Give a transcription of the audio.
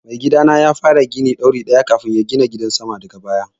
Mai gidana ya fara gini ɗori ɗaya kafun ya gina gidan sama daga baya